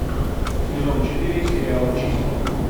сезон четыре сериал числа